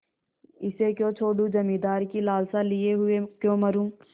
इसे क्यों छोडूँ जमींदारी की लालसा लिये हुए क्यों मरुँ